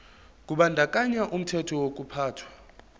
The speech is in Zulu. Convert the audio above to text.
kubandakanya umthetho wokuphathwa